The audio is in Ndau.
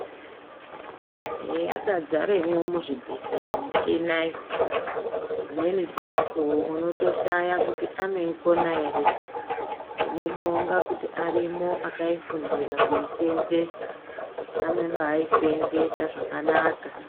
Eya yaka dzaremwo mu zvibhedhleya muchinayo dzimweni dze mukuwo unoto shaya kuti anoyi kona ere tinobonga kuti arimwo akai fundira kuyi senzesa anobai senzesa zvakanaka.